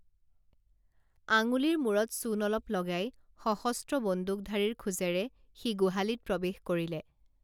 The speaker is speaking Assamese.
আঙুলিৰ মূৰত চূণ অলপ লগাই সশস্ত্ৰ বন্দুকধাৰীৰ খোজেৰে সি গোহালিত প্ৰৱেশ কৰিলে